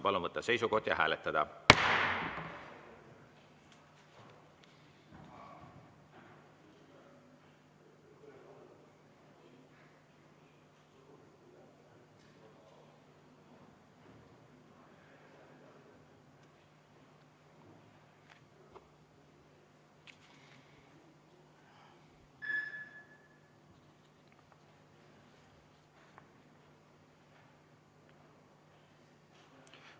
Palun võtta seisukoht ja hääletada!